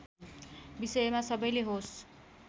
विषयमा सबैले होस